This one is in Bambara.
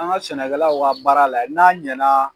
An ka sɛnɛkɛlaw ka baara lajɛ n'a ɲɛna